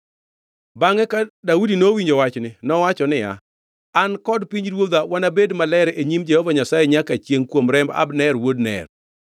Bangʼe ka Daudi nowinjo wachni, nowacho niya, “An kod pinyruodha wanabed maler e nyim Jehova Nyasaye nyaka chiengʼ kuom remb Abner wuod Ner.